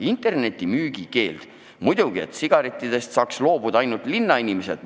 Internetimüügi keeld – muidugi, sigarettidest peaks saama loobuda ainult linnainimesed.